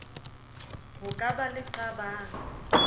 ho ka ba le qabang